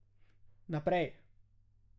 Naprej.